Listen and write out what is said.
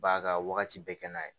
B'a ka wagati bɛɛ kɛ n'a ye